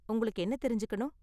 உங்களுக்கு என்ன தெரிஞ்சுக்கணும்?